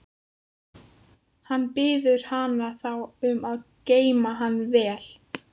Hann biður hana þá um að geyma hann vel.